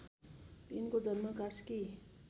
यिनको जन्म कास्की